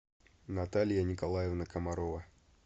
наталья николаевна комарова